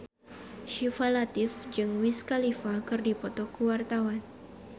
Syifa Latief jeung Wiz Khalifa keur dipoto ku wartawan